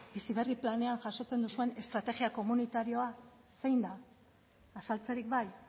bizi berri planean jasotzen duzuen estrategia komunitarioa zein da azaltzerik bai